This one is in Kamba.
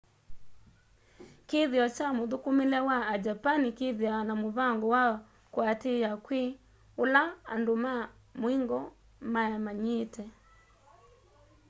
kithio kya mũthũkũmĩle wa a japani kĩthĩawa na mũvango wa kũatĩĩa kwĩ ũla andũ ma mũingo mamanyĩĩte